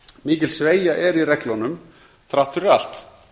mikil sveigja er í reglunum þrátt fyrir allt